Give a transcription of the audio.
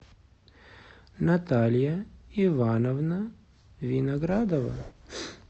наталья ивановна виноградова